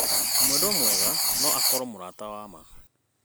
Mwendwa mwega no akorwo mũrata wa ma.